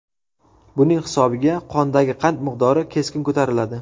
Buning hisobiga qondagi qand miqdori keskin ko‘tariladi.